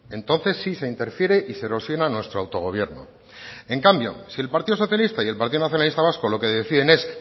entonces sí se interfiere y se erosiona nuestro autogobierno en cambio si el partido socialista y el partido nacionalista vasco lo que deciden es